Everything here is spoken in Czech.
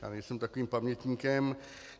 Já nejsem takovým pamětníkem.